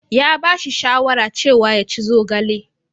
Ya ba shi shawara cewa yaci zogale.